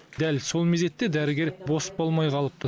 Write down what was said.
дәл сол мезетте дәрігер бос болмай қалыпты